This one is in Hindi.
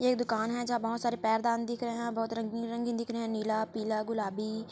ये दुकान है जहाँ बहोत सारे पैरदान दिख रहे है यहाँ बहुत रंगीन रंगीन दिख रहे है नीला पीला गुलाबी--